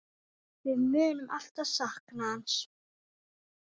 Við munum alltaf sakna hans.